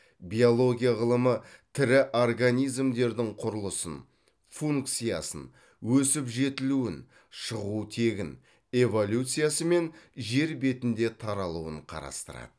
биология ғылымы тірі организмдердің құрылысын функциясын өсіп жетілуін шығу тегін эволюциясы мен жер бетінде таралуын қарастырады